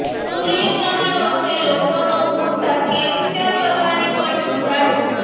સૂર્ય ગ્રહણ વખતે લોકોનો ઉત્સાહ કેપ્ચર કરવાની પણ મજા છે